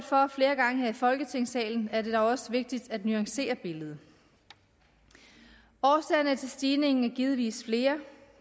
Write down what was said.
for flere gange her i folketingssalen er det dog også vigtigt at nuancere billedet årsagerne til stigningen er givetvis flere